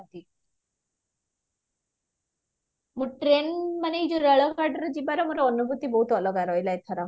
ମୁଁ train ମାନେ ଏଇ ଯୋଉ ରେଳ ଗାଡିରେ ଯିବାର ମୋର ଅନୁଭୂତି ବହୁତ ଅଲଗା ରହିଲା ଏଥର